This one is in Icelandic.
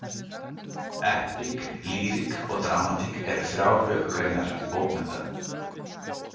Epík, lýrik og dramatík eru þrjár höfuðgreinar bókmennta.